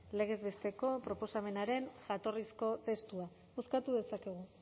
legez besteko proposamenaren jatorrizko testua bozkatu dezakegu